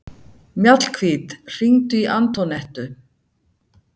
Mjallhvít, hringdu í Antonettu.